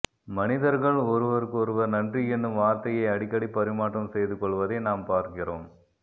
மனிதர்கள் ஒருவருக்கொருவர் நன்றி என்னும் வார்த்தையை அடிக்கடி பரிமாற்றம் செய்து கொள்வதை நாம் பார்க்கிறோம்